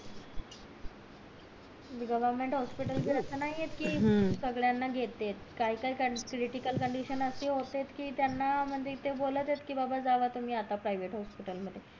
government hospital च असं नाय कि सगळयांना घेतेत काय काय क्रिटीकल कंडिशन असे होतात कि त्याना म्हणजे कि ते बोलत येत कि जावा तुम्ही बाबा आता private हॉस्पिटल मध्ये